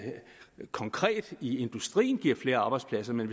konkret i industrien giver flere arbejdspladser men